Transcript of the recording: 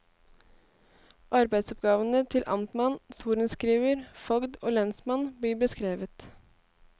Arbeidsoppgavene til amtmann, sorenskriver, fogd og lensmann blir beskrevet.